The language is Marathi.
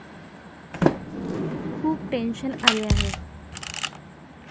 खूप टेन्शन आले आहे.